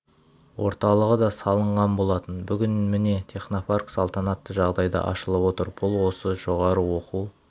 орталығы да салынған болатын бүгін міне технопарк салтанатты жағдайда ашылып отыр бұл осы жоғары оқу